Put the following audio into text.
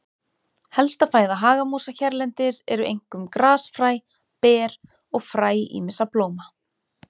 Helsta fæða hagamúsa hérlendis eru einkum grasfræ, ber og fræ ýmissa blóma.